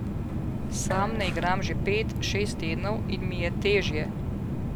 Sam ne igram že pet, šest tednov in mi je težje.